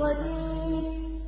قَدِيرٌ